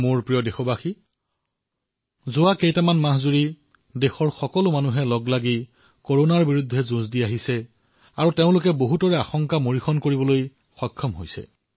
মোৰ মৰমৰ দেশবাসীসকল বিগত কিছু মাহৰ পৰা সমগ্ৰ দেশে ঐকৱদ্ধ হৈ যিদৰে কৰোনাৰ বিৰুদ্ধে যুঁজি আছে তাৰ দ্বাৰা অনেক আশংকা ভুল বুলি প্ৰতীয়মান হৈছে